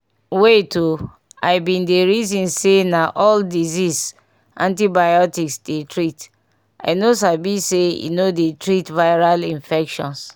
wait ooh i been dey reason say na all dieases antibiotics dey treat i no sabi say e no dey treat viral infections